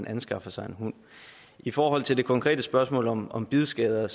anskaffer sig en hund i forhold til det konkrete spørgsmål om om bidskader